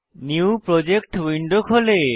new project window খোলে